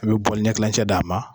A bɛ ɲɛ tilancɛ d'a ma